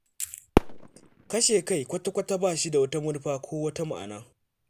Kashe kai kwata-kwata ba shi da manufa ko wata ma'ana.